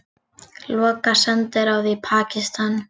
Loka sendiráði í Pakistan